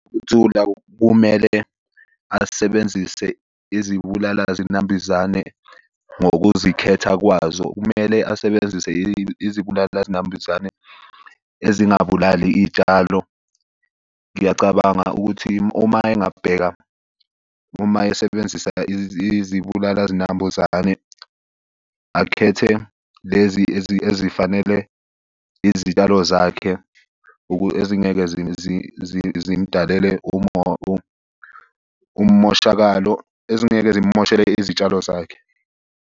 Ukuthula kumele asebenzise izibulala zinambuzane ngokuzikhetha kwazo. Kumele asebenzise izibulala zinambuzane ezingabulali iy'tshalo. Ngiyacabanga ukuthi uma engabheka uma esebenzisa izibulala zinambuzane akhethe lezi ezifanele izitshalo zakhe. Ezingeke zimdalele umoshakalo. Ezingeke zimumoshele izitshalo zakhe.